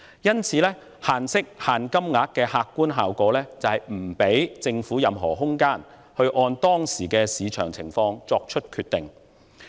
因此，就息率及額度設限的客觀效果，就是不給予政府任何空間，按當時的市場情況作出決定。